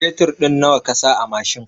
Fetur ɗin nawa kasa a mashin?